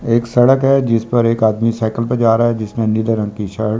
एक सड़क है जिस पर एक आदमी साइकिल पर जा रहा है जिसमें नीले रंग कि शर्ट --